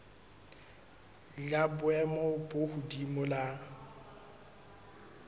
la boemo bo hodimo la